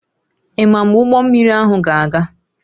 Ị ma mgbe ụgbọ mmiri ahụ ga-aga?